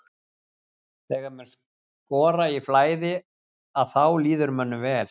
Þegar menn skora í flæði að þá líður mönnum vel.